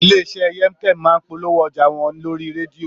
Ilé iṣẹ́ Yemkem máa ń polówó ọjà wọn lórí rédíò